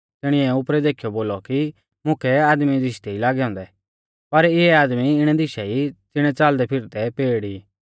तिणिऐ उपरै देखीयौ बोलौ कि मुकै आदमी दिशदै ई लागै औन्दै पर इऐ आदमी इणै दिशा ई ज़िणै च़ालदैफिरदै पेड़ ई